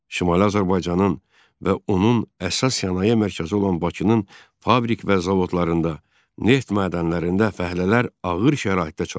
Şimali Azərbaycanın və onun əsas sənaye mərkəzi olan Bakının fabrik və zavodlarında, neft mədənlərində fəhlələr ağır şəraitdə çalışır.